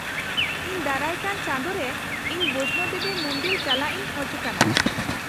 -ᱤᱧ ᱫᱟᱨᱟᱭ ᱠᱟᱱ ᱪᱟᱸᱫᱳ ᱨᱮ ᱤᱧ ᱵᱚᱭᱥᱱᱳ ᱫᱮᱵᱤ ᱢᱩᱱᱫᱤᱞ ᱪᱟᱞᱟᱜ ᱤᱧ ᱠᱷᱚᱡ ᱠᱟᱱᱟ ᱾